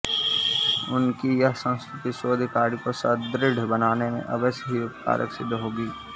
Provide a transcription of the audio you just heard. उनकी यह संस्तुति शोध कार्य को सुदृढ़ बनाने में अवश्य ही उपकारक सिद्ध होगी